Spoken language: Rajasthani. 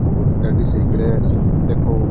और गाड़ी सही करे है देखो।